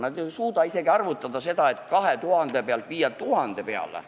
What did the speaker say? Nad ei suuda arvutada isegi mitte seda, et viia aktsiis 2000 pealt 1000 peale.